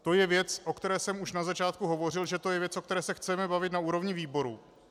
To je věc, o které jsem už na začátku hovořil, že to je věc, o které se chceme bavit na úrovni výboru.